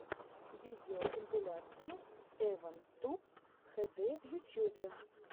видеокомпиляция эван туб хэ дэ в ютьюбе